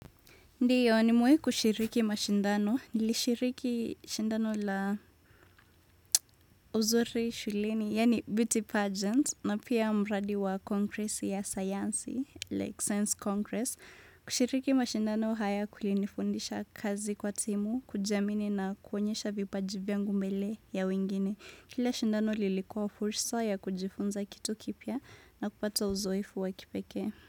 Ndiyo nimewai kushiriki mashindano, nilishiriki shindano la uzuri shuleni, yani beauty pageant, na pia mradi wa congressi ya sayansi, like science congress. Kushiriki mashindano haya kulinifundisha kazi kwa timu, kujiamini na kuonyesha vipaji vyangu mbele ya wengine. Kila shindano lilikuwa fursa ya kujifunza kitu kipya na kupata uzoefu wa kipeke.